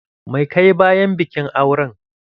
Mai ka yi bayan bikin auren?